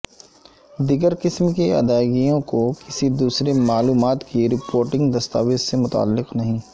دیگر قسم کی ادائیگیوں کو کسی دوسرے معلومات کی رپورٹنگ دستاویز سے متعلق نہیں